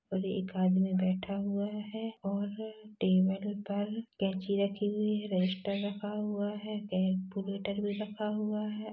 और एक आदमी बैठा हुआ है और टेबल पर कैंची रखी हुई है रजिस्टर रखा हुआ है केलकुलेटर भी रखा हुआ हैं।